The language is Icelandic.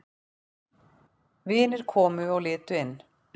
Vinir komu og litu inn.